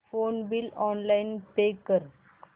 phone bill online pay कर